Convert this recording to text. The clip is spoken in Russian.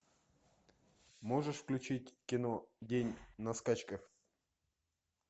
можешь включить кино день на скачках